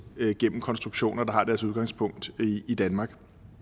gennem konstruktioner der har deres udgangspunkt i danmark